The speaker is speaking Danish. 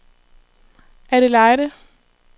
Adelaide